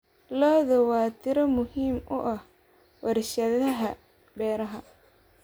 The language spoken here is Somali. Lo'du waa tiir muhiim u ah warshadaha beeraha.